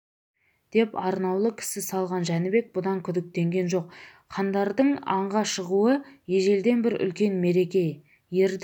деп арнаулы кісі салған жәнібек бұдан күдіктенген жоқ хандардың аңға шығуы ежелден бір үлкен мереке ердің